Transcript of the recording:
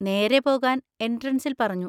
നേരെ പോകാൻ എൻട്രൻസിൽ പറഞ്ഞു.